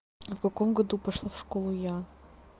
а в каком году пошла в школу я